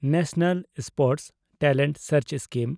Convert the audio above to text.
national sports talent search scheme